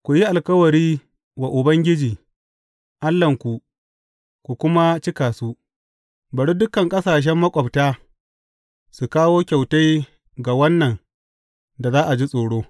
Ku yi alkawari wa Ubangiji Allahnku ku kuma cika su; bari dukan ƙasashen maƙwabta su kawo kyautai ga Wannan da za a ji tsoro.